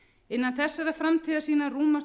innan þessarar framtíðarsýnar rúmast